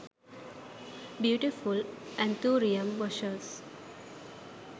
beautiful anthurium bushes